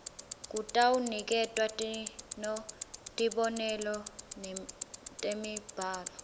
kutawuniketwa tibonelo temibhalo